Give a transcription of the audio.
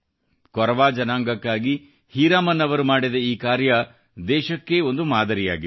ಕೊರವಾ ಜನಾಂಗಕ್ಕಾಗಿ ಹೀರಾಮನ್ ಅವರು ಮಾಡಿದ ಈ ಕಾರ್ಯ ದೇಶಕ್ಕೇ ಒಂದು ಮಾದರಿಯಾಗಿದೆ